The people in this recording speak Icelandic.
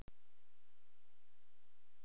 Andri: Þú, hefurðu rætt eitthvað við hjónin?